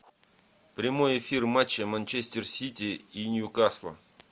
прямой эфир матча манчестер сити и ньюкасла